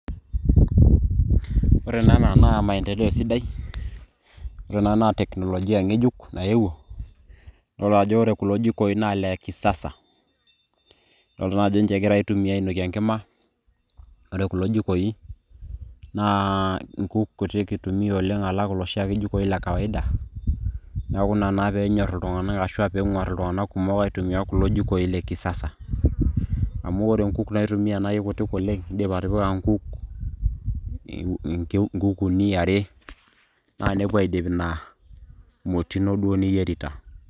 ore naa ena naa maendeleo sidai, ore ena naa teknolojia nayewuo, idol ajo ore kulo jikoi naa ile kisasa ,idoolta naa ajo ninche egira aitumia ainokie enkima, ore kulo jikoi naa inkuk kutik itumia oleng' alang' iloshi ake jikoi le kawaida, naa ina naa pee enyor ashu enguar iltunganak aitumia oleng alang kulo jikoi le kisasa. amu ore inkuk naitumia naa eikutik oleng, idim atipika inkuk, uni, are naa nepuo aidip ina moti ino duo niyierita.